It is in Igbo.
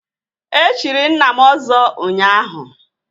E chiri nna m Ọzọ ụnyaahụ